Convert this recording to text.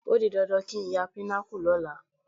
Ó di dandan kí n ya Pinnacle lọ́la